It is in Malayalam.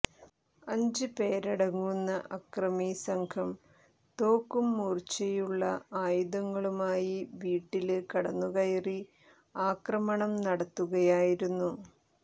അഞ്ച് പേരടങ്ങുന്ന അക്രമിസംഘം തോക്കും മൂര്ച്ചയുളള ആയുധങ്ങളുമായി വീട്ടില് കടന്നുകയറി ആക്രമണം നടത്തുകയായിരുന്നു